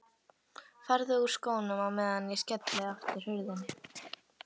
Farðu úr skónum á meðan ég skelli aftur hurðinni.